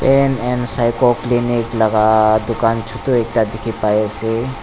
pain and psycho clinic laga dukan chotu ekta dekhi pai ase.